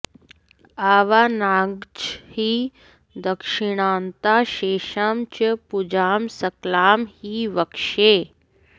आवाहनाद्याश्च हि दक्षिणान्ताः शेषां च पूजां सकलां हि वक्ष्ये